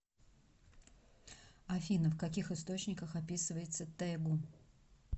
афина в каких источниках описывается тэгу